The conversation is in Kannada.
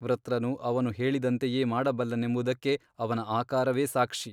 ವೃತ್ರನು ಅವನು ಹೇಳಿದಂತೆಯೇ ಮಾಡಬಲ್ಲನೆಂಬುದಕ್ಕೆ ಅವನ ಆಕಾರವೇ ಸಾಕ್ಷಿ.